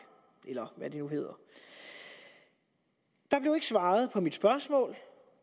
eller hvad det nu hedder der blev ikke svaret på mit spørgsmål